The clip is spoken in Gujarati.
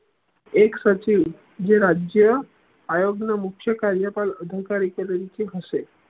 એક સચિવ જે રાજ્ય આયોગ્ય મુખ્ય કાર્ય પર અધકારી તરીકે હશે